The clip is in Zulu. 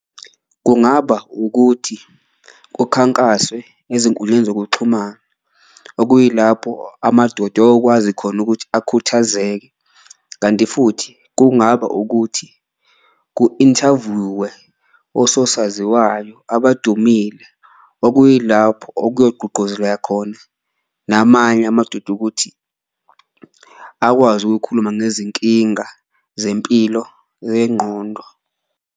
Kungaba ukuthi kukhankaswe ezinkundleni zokuxhumana okuyilapho amadoda eyokwazi khona ukuthi akhuthazeke, kanti futhi kungaba ukuthi ku-inthavyuwe ososaziwayo abadumile. Okuyilapho okuyogqugquzeleka khona namanye amadoda ukuthi akwazi ukuyokhuluma ngezinkinga zempilo yengqondo.